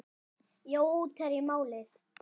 Jói útherji málið?